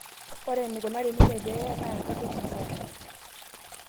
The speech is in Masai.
Ore enekunari ninye peeye naa enkarueisho sapuk